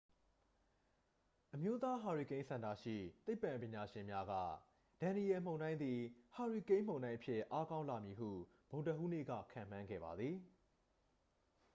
အမျိုးသားဟာရီကိန်းစင်တာရှိ သိပ္ပံပညာရှင်များက ဒန်နီယယ်လ် မုန်တိုင်းသည် ဟာရီကိန်းမုန်တိုင်းအဖြစ် အားကောင်းလာမည်ဟု ဗုဒ္ဓဟူးနေ့က ခန့်မှန်းခဲ့ပါသည်